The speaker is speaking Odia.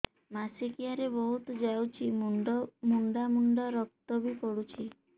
ମାସିକିଆ ରେ ବହୁତ ଯାଉଛି ମୁଣ୍ଡା ମୁଣ୍ଡା ରକ୍ତ ବି ପଡୁଛି